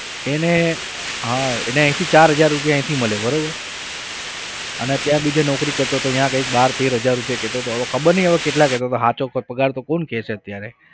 એને હા એને અહીંથી ચાર હજાર રૂપિયા અહીંથી મળે બરાબર અને ત્યાં બીજે નોકરી કરતો હતો ત્યાં કઈંક બાર તેર હજાર રૂપિયા કહેતો હતો હવે ખબર નહિ હવે કેટલા કહેતો હતો સાચો પગાર તો કોણ કહે છે અત્યારે.